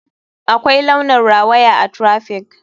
Akwai launin rawaya a traffic.